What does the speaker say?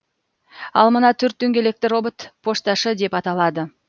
ал мына төрт дөңгелекті робот пошташы деп аталады